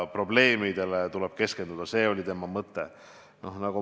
Probleemidele tuleb keskenduda, see oli tema mõte.